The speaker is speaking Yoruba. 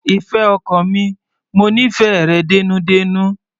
Ìfẹ́ ọkàn mi, mo nífẹ̀ẹ́ rẹ dénúdénú.